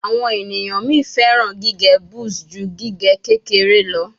Awon eniyan mi feran gige buzz ju gige kekere lọ